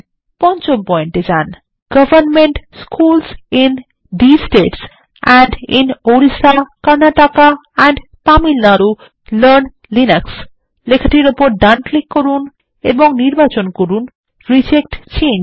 পঞ্চম পয়েন্ট এ যান এবং government schools in these states and in Orissa Karnataka and Tamil Nadu learn Linux লেখাটির ওপর ডান ক্লিক করুন এবং নির্বাচন করুন রিজেক্ট চেঞ্জ